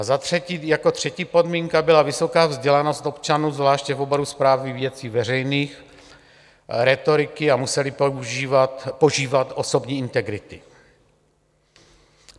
A za třetí, jako třetí podmínka byla vysoká vzdělanost občanů, zvláště v oboru správy věcí veřejných, rétoriky a museli požívat osobní integrity.